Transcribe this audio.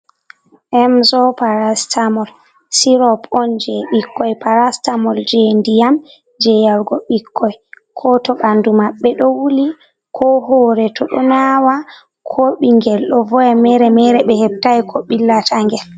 Mzo parastamol sirop on je ɓikkoy parastamol je ndiyam je yargo ɓikkoy ko to bandu mabbe do wuli ko hoore to do nawa ko bingel do voya mere-mere be heɓtai ko billa tangel.